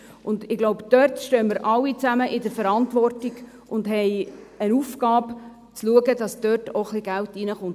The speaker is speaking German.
Ich denke, dass wir hier alle zusammen in der Verantwortung stehen und die Aufgabe haben, zu schauen, dass ein bisschen Geld hineinkommt.